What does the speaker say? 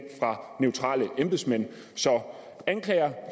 fra neutrale embedsmænd så anklager